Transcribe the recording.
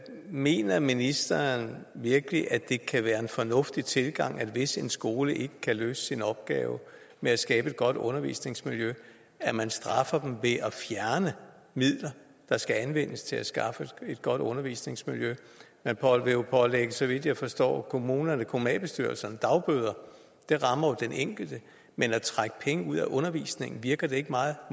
mener ministeren virkelig at det kan være en fornuftig tilgang hvis en skole ikke kan løse sin opgave med at skabe et godt undervisningsmiljø at man straffer dem ved at fjerne midler der skal anvendes til at skaffe et godt undervisningsmiljø man vil jo pålægge så vidt jeg forstår kommunalbestyrelserne dagbøder det rammer jo den enkelte men at trække penge ud af undervisningen virker det ikke meget